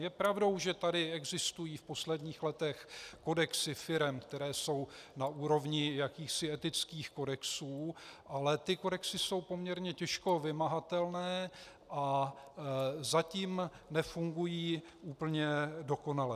Je pravdou, že tady existují v posledních letech kodexy firem, které jsou na úrovni jakýchsi etických kodexů, ale ty kodexy jsou poměrně těžko vymahatelné a zatím nefungují úplně dokonale.